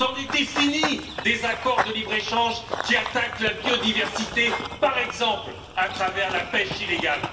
C'en était fini des accords de libre échange qui attaquent la biodiversité, par exemple à travers la pêche illégale.